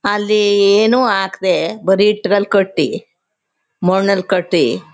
ಅಲ್ಲಿ ಏನು ಹಾಕ್ದೇ ಬರಿ ಈಟಿಗಲಿ ಕಟ್ಟಿ ಮಣ್ಣಲಿ ಕಟ್ಟಿ--